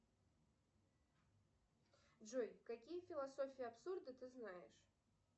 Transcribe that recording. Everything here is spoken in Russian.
джой какие философии абсурда ты знаешь